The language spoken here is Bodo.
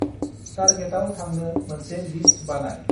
तार्गेताव थांनो मोनसे लिस्त बानाय।